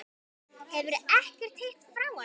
Hefurðu ekkert heyrt frá honum?